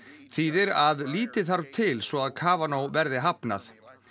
þýðir að lítið þarf til svo að verði hafnað